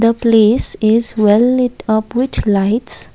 the place is well light up which lights.